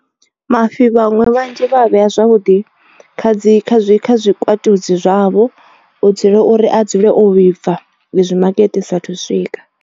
Mafhi vhaṅwe vhanzhi vha a vhea zwavhuḓi kha dzi kha zwi kha zwikwatudzi zwavho. U dzule uri a dzule o vhibva i zwi makete i saathu u swika.